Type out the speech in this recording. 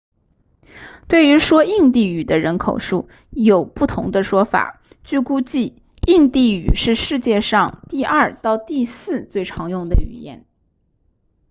对于说印地语的人口数有不同的说法据估计印地语是世界上第二到第四最常用的语言